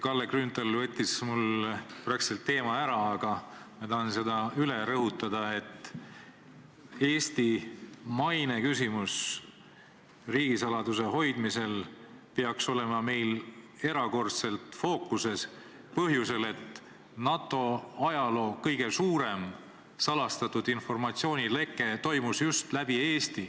Kalle Grünthal võttis siin peaaegu minu teema ära, aga ma tahan seda üle rõhutada, et Eesti maine küsimus riigisaladuse hoidmisel peaks olema meil erakordselt fookuses põhjusel, et NATO ajaloo kõige suurem salastatud informatsiooni leke toimus just läbi Eesti.